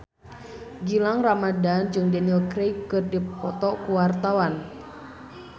Gilang Ramadan jeung Daniel Craig keur dipoto ku wartawan